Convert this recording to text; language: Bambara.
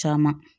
Caman